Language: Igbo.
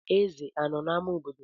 Ezè anọ n'ámá obodo?